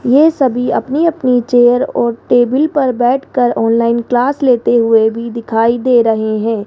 ये सभी अपनी अपनी चेयर और टेबल पर बैठकर ऑनलाइन क्लास लेते हुए भी दिखाई दे रहे हैं।